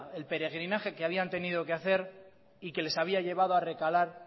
el peregrinaje que habían tenido que hacer y que les había llevado a recalar